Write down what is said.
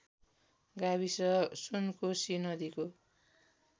गाविस सुनकोशी नदीको